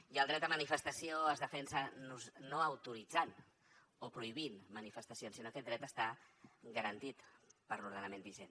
i el dret de manifestació es defensa no autoritzant o prohibint manifestacions sinó que aquest dret està garantit per l’ordenament vigent